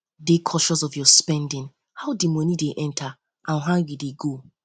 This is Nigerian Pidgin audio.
dey conscious of your spending how di money de enter and how im de go